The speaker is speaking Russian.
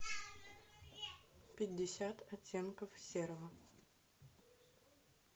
пятьдесят оттенков серого